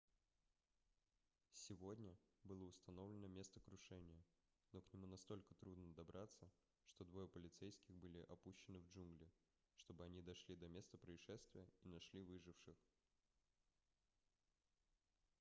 сегодня было установлено место крушения но к нему настолько трудно добраться что двое полицейских были опущены в джунгли чтобы они дошли до места происшествия и нашли выживших